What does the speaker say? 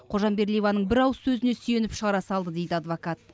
қожамбердиеваның бір ауыз сөзіне сүйеніп шығара салды дейді адвокат